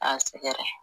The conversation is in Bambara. A sɛgɛrɛ